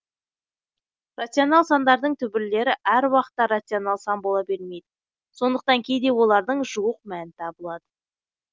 рационал сандардың түбірлері әр уақытта рационал сан бола бермейді сондықтан кейде олардың жуық мәні табылады